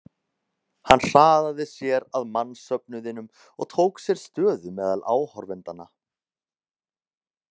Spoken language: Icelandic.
Hann hraðaði sér að mannsöfnuðinum og tók sér stöðu meðal áhorfendanna.